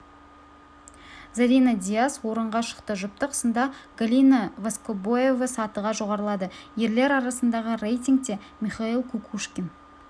зарина дияс орынға шықты жұптық сында галина воскобоева сатыға жоғарылады ерлер арасындағы рейтингте михаил кукушкин